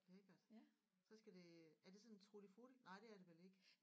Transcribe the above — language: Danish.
Lækkert så skal det er det sådan en tutti frutti nej det er det vel ikke